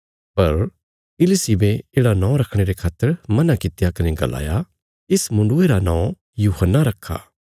पर इलिशिबे येढ़ा नौं रखणे रे खातर मना कित्या कने गलाया इस मुण्डुये रा नौं यूहन्ना रखा